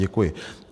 Děkuji.